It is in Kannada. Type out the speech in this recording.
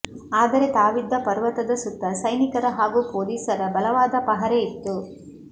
ಆದರೆ ತಾವಿದ್ದ ಪರ್ವತದ ಸುತ್ತ ಸೈನಿಕರ ಹಾಗೂ ಪೊಲೀಸರ ಬಲವಾದ ಪಹರೆ ಇತ್ತು